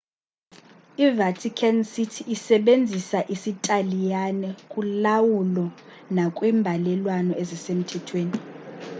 i-vatican city isebenzisa isitaliyane kulawulo nakwimbalelwano ezisemthethweni